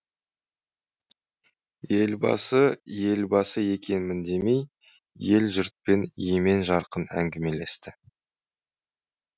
елбасы елбасы екенмін демей ел жұртпен емен жарқын әңгімелесті